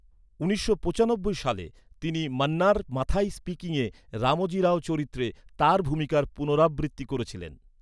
উনিশশো পঁচানব্বই সালে, তিনি মান্নার মাথাই স্পিকিংয়ে রামোজি রাও চরিত্রে তাঁর ভূমিকার পুনরাবৃত্তি করেছিলেন।